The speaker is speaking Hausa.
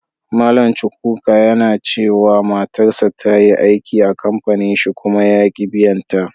Mallam Chukwuka ya nace cewa matarsa ta yi aiki a'kampanin shi kuma yaki biyan ta.